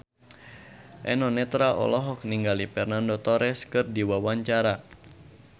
Eno Netral olohok ningali Fernando Torres keur diwawancara